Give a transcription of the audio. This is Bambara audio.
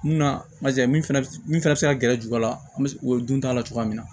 Munna min fana bɛ min fana bɛ se ka gɛrɛ juba la an bɛ o dun t'a la cogoya min na